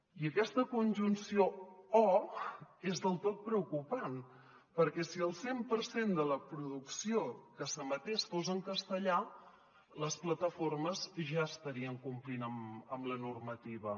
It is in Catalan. i aquesta conjunció o és del tot preocupant perquè si el cent per cent de la producció que s’emetés fos en castellà les plataformes ja estarien com·plint amb la normativa